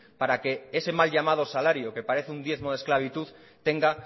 para que ese mal llamado salario que parece un diezmo de esclavitud tenga